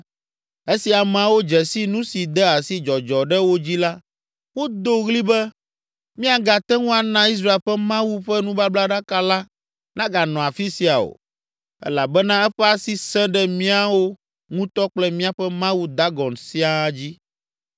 Esi ameawo dze si nu si de asi dzɔdzɔ ɖe wo dzi la, wodo ɣli be, “Míagate ŋu ana Israel ƒe Mawu ƒe nubablaɖaka la naganɔ afi sia o, elabena eƒe asi sẽ ɖe míawo ŋutɔ kple míaƒe mawu Dagon siaa dzi.”